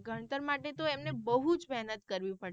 ગણતર માટે તો એમને બહુજ મેહનત કરવી પડે.